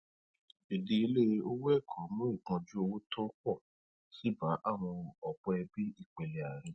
ìdíyelé owó ẹkọ ń mú ìpọnjú owó tó pọ síi bá ọpọ ẹbí ìpele àárín